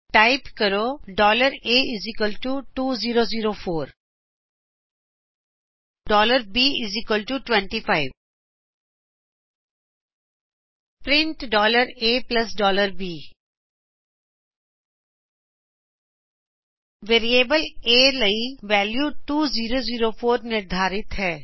type ਕਰੋਂ a 2004 b25 print ab variables a ਦੇ ਲਈ ਵੈਲਿਉ 2004 ਨਿਰਧਾਰਿਤ ਹੈ